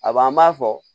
A b'an b'a fɔ